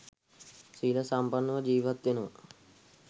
සීල සම්පන්නව ජීවත් වෙනවා.